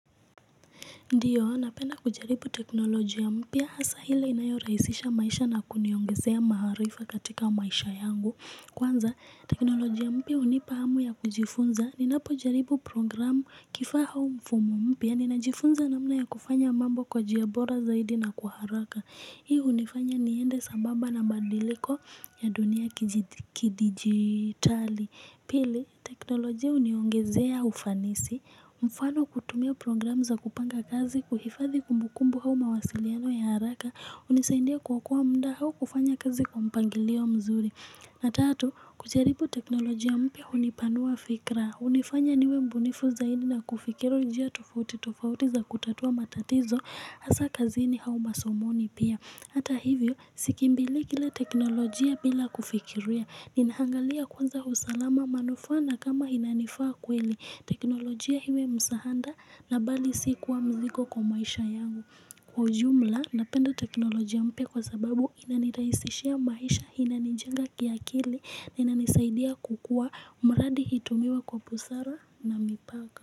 Ndiyo, napena kujaribu teknoloji ya mpia hasa hile inayoraisisha maisha na kuniyongezea maharifa katika maisha yangu. Kwanza, teknoloji ya mpia unipahamu ya kujifunza. Ninapojaribu programu kifaha mfumo mpya. Ninajifunza namna ya kufanya mambo kwa jiabora zaidi na kuharaka. Hiu unifanya niende sambaba na mbandiliko ya dunia kidigitali. Pili, teknoloji ya uniongezea ufanisi. Mfano kutumia program za kupanga kazi kuhifadhi kumbukumbu hau mawasiliano ya haraka Unisaindia kukua muda hau kufanya kazi kwa mpangilio mzuri na tatu, kucharibu teknolojia mpya unipanua fikra unifanya niwe mbunifu zaini na kufikiru njia tofauti tofauti za kutatua matatizo Asa kazini hau masomoni pia Hata hivyo, sikimbili kile teknolojia bila kufikiruia Ninaangalia kwanza usalama manufana kama inanifaa kweli teknolojia hiwe msahanda na bali sikuwa mziko kwa maisha yangu Kwa jumla napenda teknolojia mpe kwa sababu inaniraisishia maisha inanijanga kiakili na inanisaidia kukua umradi hitumiwa kwa pusara na mipaka.